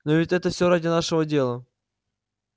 но ведь это все ради нашего дела